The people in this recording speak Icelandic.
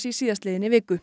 í síðastliðinni viku